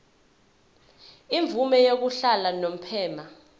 imvume yokuhlala unomphema